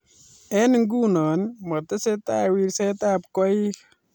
Eng nguno matesetai wirsetab koik